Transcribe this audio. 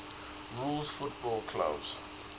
rules football clubs